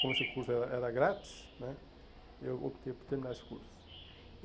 Como esse curso era era grátis né, eu optei por terminar esse curso.